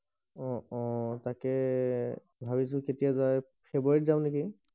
অ অ তাকে ভাবিছো কেতিয়া যাওক ফ্ৰেব্ৰুৱাৰীত যাও নেকি